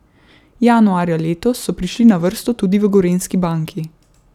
Januarja letos so prišli na vrsto tudi v Gorenjski banki.